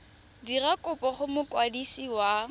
dira kopo go mokwadisi wa